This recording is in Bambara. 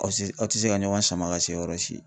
Aw tɛ aw tɛ se ka ɲɔgɔn sama ka se yɔrɔ si.